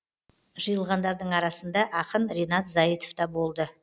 жиылғандардың арасында ақын ринат зайытов та болды